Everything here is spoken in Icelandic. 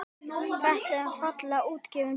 Þetta er fallega útgefin bók.